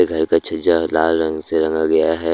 घर का छज्जा लाल रंग से रंगा गया है।